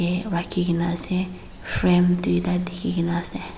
rakhikena ase frame duida dekhekena ase.